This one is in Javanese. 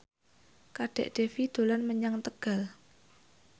Kadek Devi dolan menyang Tegal